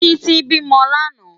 Titi bi mò làná